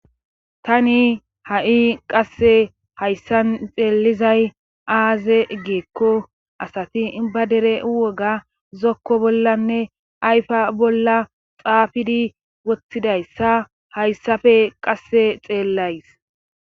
Tani ha7i qasse hayssan xeellizay aaze geekko asati iba dere woga zokko bollanne ayfa bolla xaafidi wothtidayssa hayssafe qasse xeellays.